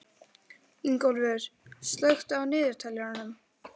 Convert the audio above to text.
Ingólfur, slökktu á niðurteljaranum.